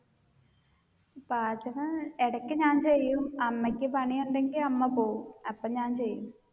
പാചകം ഇടക്ക് ഞാൻ ചെയ്യും അമ്മയ്ക്ക് പണിയുണ്ടെങ്കിൽ അമ്മ പോവും അപ്പൊ ഞാൻ ചെയ്യും.